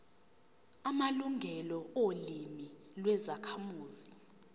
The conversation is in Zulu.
amalungelo olimi lwezakhamuzi